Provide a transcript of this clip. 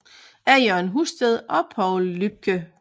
Af Jørgen Husted og Poul Lübcke